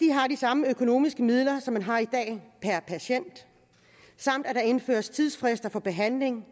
har de samme økonomiske midler som man har i dag per patient samt at der indføres tidsfrister for behandling